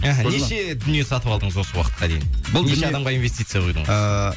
неше дүние сатып алдыңыз осы уақытқа дейін неше адамға инвестиция құйдыңыз ыыы